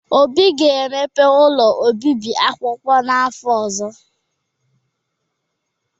Obi ga-emepe ụlọ obibi akwụkwọ n’afọ ọzọ.